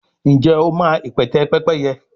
njé o ma ipẹtẹ Pẹ́pẹ́yẹ?